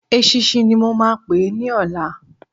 Eṣinṣin ni mo máa pè é ní ọ̀la.